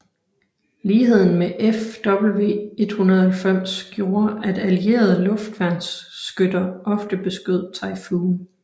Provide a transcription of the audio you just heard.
Ligheden med Fw 190 gjorde at allierede luftværnsskytter ofte beskød Typhoon